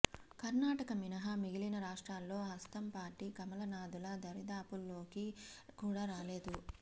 కర్ణాటక మినహా మిగిలిన రాష్ట్రాల్లో హస్తం పార్టీ కమలనాథుల దరిదాపుల్లోకి కూడా రాలేదు